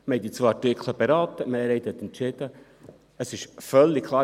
Wir haben die zwei Artikel beraten, die Mehrheit hat entschieden, es ist völlig klar.